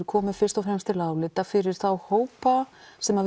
komi fyrst og fremst til álita fyrir þá sem